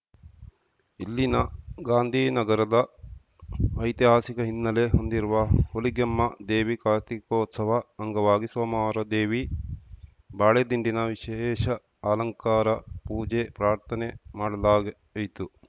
ಇಲ್ಲಿನ ಗಾಂಧಿ ನಗರದ ಐತಿಹಾಸಿಕ ಹಿನ್ನೆಲೆ ಹೊಂದಿರುವ ಹುಲಿಗೆಮ್ಮ ದೇವಿ ಕಾರ್ತಿಕೋತ್ಸವ ಅಂಗವಾಗಿ ಸೋಮವಾರ ದೇವಿ ಬಾಳೆದಿಂಡಿನ ವಿಶೇಷ ಅಲಂಕಾರ ಪೂಜೆ ಪ್ರಾರ್ಥನೆ ಮಾಡಲಾಯಿತು